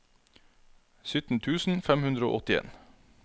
sytten tusen fem hundre og åttien